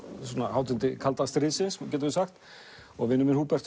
hátindi kalda stríðsins getum við sagt og vinur minn Húbert